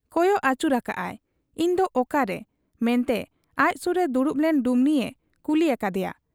ᱠᱚᱭᱚᱜ ᱟᱹᱪᱩᱨ ᱟᱠᱟᱜ ᱟᱭ, 'ᱤᱧ ᱫᱚ ᱚᱠᱟᱨᱮ, ᱢᱮᱱᱛᱮ ᱟᱡ ᱥᱩᱨ ᱨᱮ ᱫᱩᱲᱩᱵ ᱞᱮᱱ ᱰᱩᱢᱱᱤᱭᱮ ᱠᱩᱞᱤ ᱟᱠᱟᱫ ᱮᱭᱟ ᱾